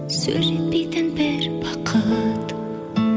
сөз жетпейтін бір бақыт